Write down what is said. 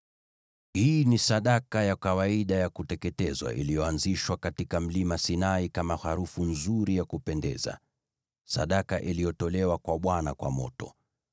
Hii ni sadaka ya kawaida ya kuteketezwa iliyoanzishwa katika Mlima Sinai kama harufu nzuri ya kupendeza, sadaka iliyotolewa kwa Bwana kwa moto.